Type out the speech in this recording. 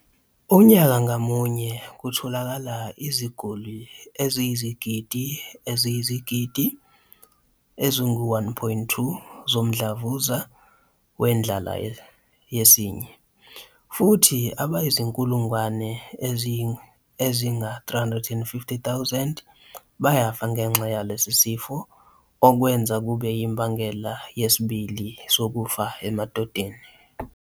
Unyaka ngamunye kutholakala iziguli eziyizigidi eziyizigidi ezingu-1.2 zomdlavuza wendlala yesinye, futhi abayizinkulungwane ezinga-350,000 bayafa ngenxa yalesi sifo, okwenza kube yimbangela yesibili sokufa emadodeni.